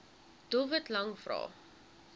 doelwit lang vrae